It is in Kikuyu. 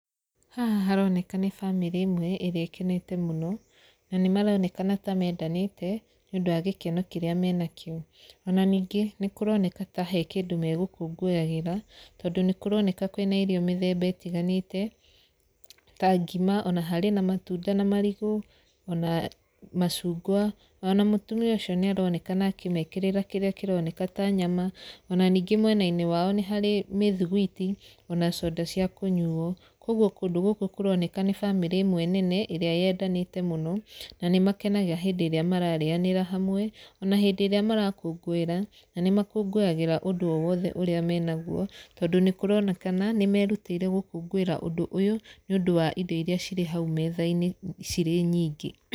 Haha haroneka nĩ bamĩrĩ ĩmwe ĩrĩa ĩkenete mũno, na nĩ maronekana ta mendanĩte nĩ ũndũ wa gĩkeno kĩrĩa menakĩo. Ona ningĩ nĩ kũroneka ta he kĩndũ megũkũngũyagĩra, tondũ nĩ kũrokneka kwĩna irio mĩthemba ĩtiganĩte ta ngima, ona harĩ na matunda na marigũ, ona macungwa ona mũtumia ũcio nĩ aronekana akĩmekererĩra kĩrĩa kĩroneka ta nyama. Ona ningĩ mwena-inĩ wao nĩharĩ mĩthiguiti ona coda cia kũnyuo. Kũguo kũndũ gũkũ kũroneka nĩ bamĩrĩ ĩmwe nene ĩrĩa yendanĩte mũno, na nĩ makenaga hĩndĩ ĩrĩa mararĩanĩra hamwe, ona hĩndĩ ĩrĩa marakũngũĩra. Na nĩ makũngũyagĩra ũndũ o wothe ũrĩa me naguo. Tondũ nĩ kũronekana nĩ merutĩitre gũkũngũĩra ũndũ ũyũ nĩ ũndũ wa irio irĩa cirĩ hau metha-inĩ cirĩ nyingĩ.